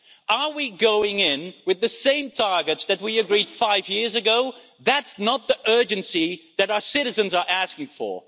Are we going in with the same targets that we agreed five years ago? That's not the urgency that our citizens are asking for.